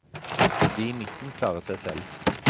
De i midten klarer seg selv.